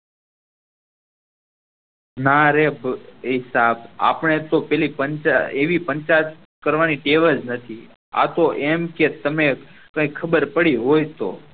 નાં રે એ સાહબ આપણ ને તો એવી પંચાયત કરવાનો ટેવ જ નથી આ તો એમ કે તમે કાય ખબર પડી હોય તો